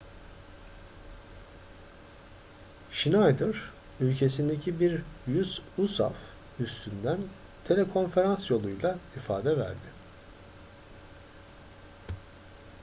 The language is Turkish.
schneider ülkesindeki bir usaf üssünden telekonferans yoluyla ifade verdi